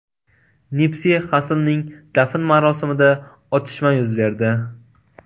Nipsi Xasslning dafn marosimida otishma yuz berdi.